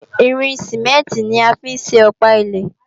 Irin Sìmẹ́ǹtì ni a fi ń ṣe Ọ̀pá ilé